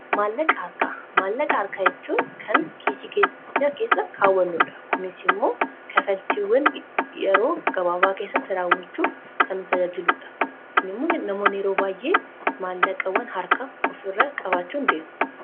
maallaqa harka kaa'achuun kan kiisii keenya keessa kaawwannuudha. kunis immoo kaffaltiiwwan yeroo gabaabaa keessatti raawwachuuf kan tajaajiludha. namoonni yeroo baay'ee maallaqa waan harka ofirra qabaachuu in deemu.